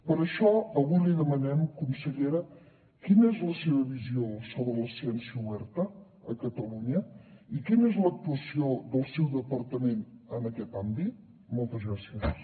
per això avui li demanem consellera quina és la seva visió sobre la ciència oberta a catalunya i quina és l’actuació del seu departament en aquest àmbit moltes gràcies